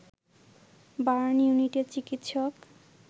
burn ইউনিটের চিকিৎসক